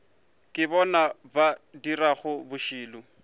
ke bona ba dirago bošilo